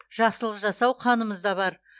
жақсылық жасау қанымызда бар